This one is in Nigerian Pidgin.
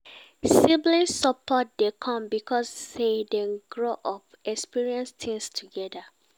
Sibling support dey come because say dem grow up experience things together